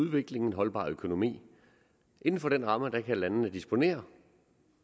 udvikling en holdbar økonomi inden for den ramme kan landene disponere